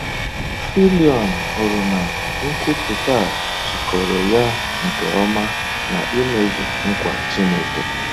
Fillion hụrụ na nkwupụta a jikọrọ ya nke ọma na imezu nkwa Chineke.